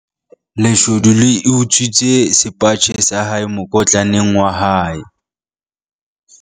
leshodu le utswitse sepatjhe sa hae mokotlaneng waa hae